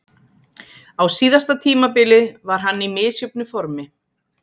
Á síðasta tímabili var hann í misjöfnu formi.